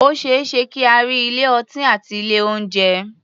O ṣé é ṣe kí a rí ilé-ọtí àti ilé-oúnjẹ.